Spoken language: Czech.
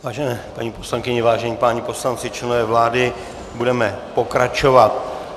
Vážené paní poslankyně, vážení páni poslanci, členové vlády, budeme pokračovat.